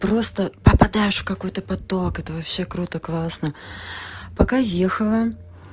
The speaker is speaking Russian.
просто попадаешь в какой-то поток это вообще круто классно пока ехала